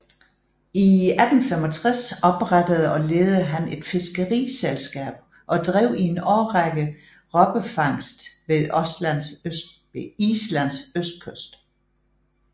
I 1865 oprettede og ledede han et fiskeriselskab og drev i en årrække robbefangst ved Islands østkyst